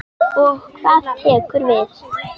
Og hvað tekur við?